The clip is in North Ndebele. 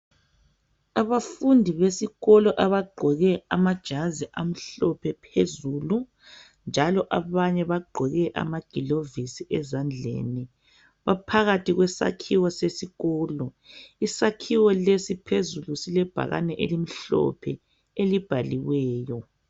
abafundi besikolo abagqoke amajazi amhlophe phezulu njalo abanye bagqoke amagilovisi ezandleni baphakathi kwesakhiwo sesikolo isakhiwo lesi phezulu silebhakane elimhlophe elibhaliweyo